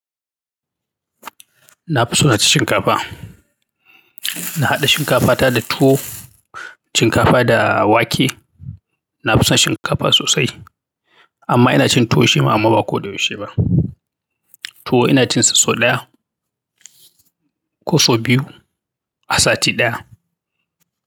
Na fi so na ci shinkapa. Na haɗa shinkafa ta da tuwo, shinkafa da wake. Na fi son shinkafa sosai amma ina cin tuwo shi ma amma ba ko da yaushe ba. Tuwo ina cin sa sau ɗaya. Ko sau biyu a sati ɗaya.